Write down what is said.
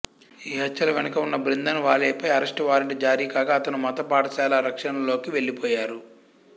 ఈ హత్యల వెనుక ఉన్న భింద్రన్ వాలేపై అరెస్టు వారెంట్ జారీ కాగా అతను మత పాఠశాల రక్షణలోకి వెళ్ళిపోయారు